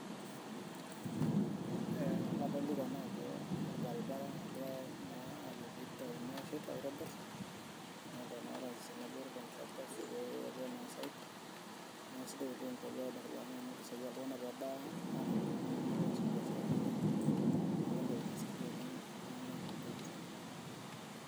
adolita naa ajo olbaribara engirae na ajo peiteruni na ashet, aitobir na orais tenebo o contractor pe etuo na site, na isidai oleng tenitobiri ilbaribari amu keisaidia iltungana pebaya anam intokitin enye nepuo as ibiasharani enye, niaku entoki nasaidia oleng iltungana te uchumi.